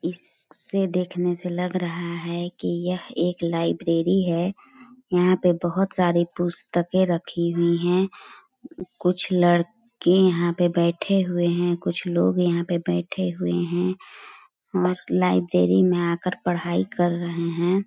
इस-स-से देखने से लग रहा है कि यह एक लाइब्रेरी है यहाँ पे बहोत सारे पुस्तके रखी हुई है कुछ लड़-के यहाँ पे बैठे हुए है कुछ लोग यहाँ पे बैठे हुए है और लाइब्रेरी में आकर पढाई कर रहे है ।